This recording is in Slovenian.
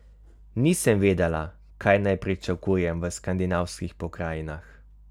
Nisem vedela, kaj naj pričakujem v skandinavskih pokrajinah.